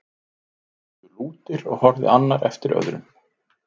Þeir stóðu lútir og horfði annar eftir öðrum.